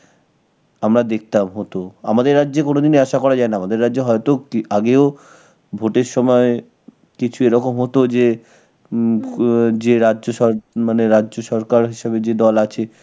আমরা দেখতাম হত. আমাদের রাজ্যে কোনদিন আশা করা যায় না. আমাদের রাজ্যে হয়তো আগেও vote এর সময় কিছু এরকম হতো যে হম যে রাজ্য সর~, মানে রাজ্য সরকার হিসেবে যে দল আছে